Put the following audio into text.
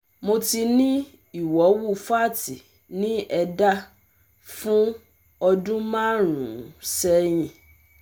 Mo ti ní ìwọ̀wù fátì ní ẹ̀dá fún ọdún márùn-ún sẹ́yìn